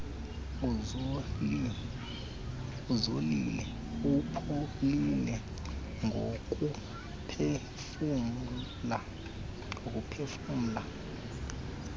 uzolile upholile ngokuphefumla